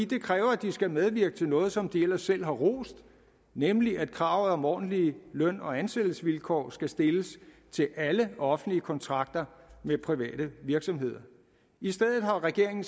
det kræver at de skal medvirke til noget som de ellers selv har rost nemlig at kravet om ordentlige løn og ansættelsesvilkår skal stilles til alle offentlige kontrakter med private virksomheder i stedet har regeringen